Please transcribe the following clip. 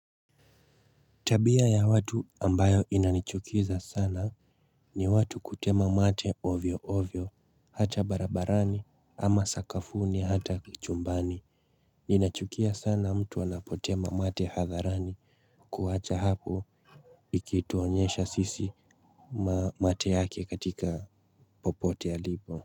Tabia ya watu ambayo inanichukiza sana ni watu kutema mate ovyo ovyo, hata barabarani, ama sakafuni, hata chumbani. Ninachukia sana mtu anapotema mate hadharani, kuwacha hapo kutuonyesha sisi mate yake katika popote alipo.